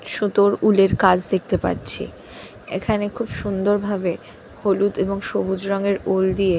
সুতোর উলের কাজ দেখতে পাচ্ছি। এখানে খুব সুন্দর ভাবে হলুদ এবং সবুজ রঙের উল দিয়ে--